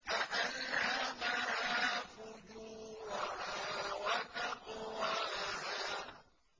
فَأَلْهَمَهَا فُجُورَهَا وَتَقْوَاهَا